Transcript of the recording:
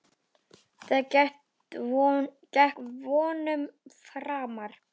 Það gekk vonum framar.